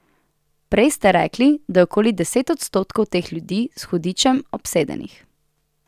Prej ste rekli, da je okoli deset odstotkov teh ljudi s hudičem obsedenih.